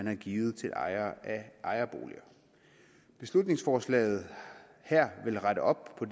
har givet til ejere af ejerboliger beslutningsforslaget her vil rette op på